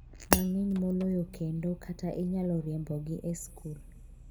mang'eny moloyo kendo kata inyalo riembogi e skul.